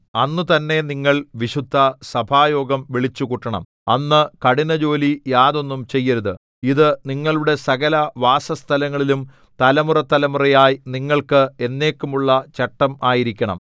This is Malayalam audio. അന്ന് തന്നെ നിങ്ങൾ വിശുദ്ധസഭായോഗം വിളിച്ചുകൂട്ടണം അന്ന് കഠിന ജോലി യാതൊന്നും ചെയ്യരുത് ഇതു നിങ്ങളുടെ സകലവാസസ്ഥലങ്ങളിലും തലമുറതലമുറയായി നിങ്ങൾക്ക് എന്നേക്കുമുള്ള ചട്ടം ആയിരിക്കണം